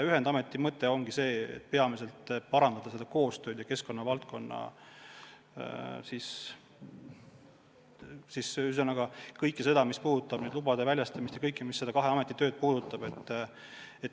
Ühendameti mõte on see, et tahame parandada keskkonnavaldkonna koostööd – kõike seda, mis puudutab lubade väljastamist ja üldse kahe ameti tööd.